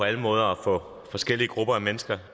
alle måder at få forskellige grupper af mennesker